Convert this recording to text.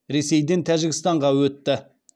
ресейден тәжікстанға өтті